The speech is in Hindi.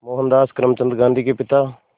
मोहनदास करमचंद गांधी के पिता